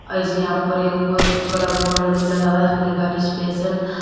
ऐसी यहां पर एक बहुत बड़ा बोर्ड भी लगा उसपे लिखा रिसेप्शन ।